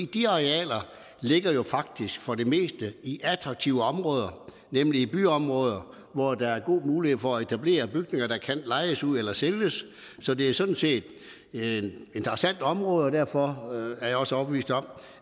de arealer ligger jo faktisk for det meste i attraktive områder nemlig i byområder hvor der er god mulighed for at etablere bygninger der kan lejes ud eller sælges så det er sådan set interessante områder og derfor er jeg også overbevist om